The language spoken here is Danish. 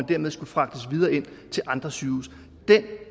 dermed skulle fragtes videre til andre sygehuse den